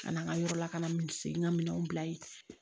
Ka na n ka yɔrɔ la ka na missegin ka minɛnw bila yen